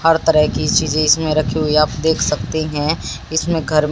हर तरह की चीजे इसमें रखी हुई आप देख सकते हैं इसमें घर--